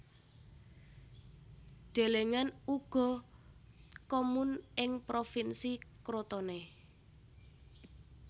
Delengen uga Comun ing Provinsi Crotone